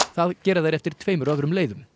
það gera þeir eftir tveimur öðrum leiðum